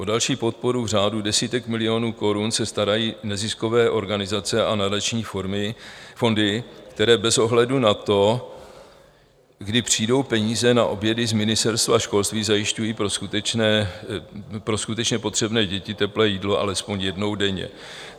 O další podporu v řádu desítek milionů korun se starají neziskové organizace a nadační fondy, které bez ohledu na to, kdy přijdou peníze na obědy z Ministerstva školství, zajišťují pro skutečně potřebné děti teplé jídlo alespoň jednou denně.